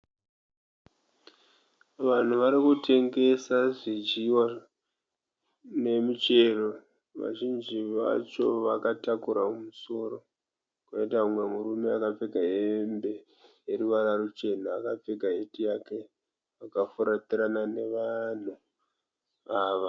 Vanhu vari varikutengesa zvidyiwa nemichero. Vazhinji vacho vakatakura mumusoro. Poita mumwe murume akapfeka hembe ineruvara ruchena, akapfeka heti yake akafuratirana nevanhu ava.